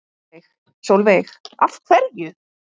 Sólveig: Af hverju?